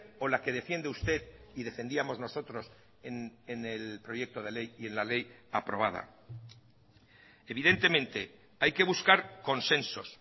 o la que defiende usted y defendíamos nosotros en el proyecto de ley y en la ley aprobada evidentemente hay que buscar consensos